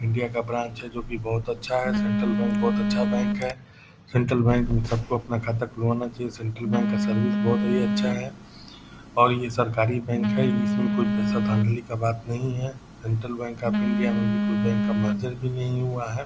India का branch है जो की बहुत अच्छा है सेंट्रल बैंक बहुत अच्छा बैंक है। सेंट्रल बैंक में सबको अपना खाता खुलवाना चाहिये सेंट्रल बैंक का सर्विस बहुत ही अच्छा है और ये सरकारी बैंक है इसमे कोई पैसे धांधली का बात नहीं है। सेंट्रल बैंक का ऑफ़ इण्डिया में भी कोई बैंक का मर्जर भी नही हुआ है।